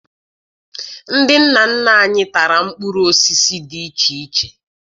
Ndị nna nna anyị tara mkpụrụ osisi dị iche iche